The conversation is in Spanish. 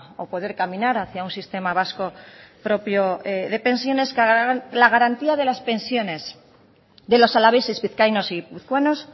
o poder caminar hacia un sistema vasco propio de pensiones la garantía de las pensiones de los alaveses vizcaínos y guipuzcoanos